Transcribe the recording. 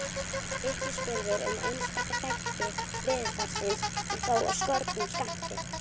Vitnisburður um einstaka þætti veðurfarsins er þó af skornum skammti.